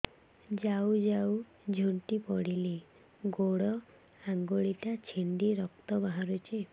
ଯାଉ ଯାଉ ଝୁଣ୍ଟି ପଡ଼ିଲି ଗୋଡ଼ ଆଂଗୁଳିଟା ଛିଣ୍ଡି ରକ୍ତ ବାହାରୁଚି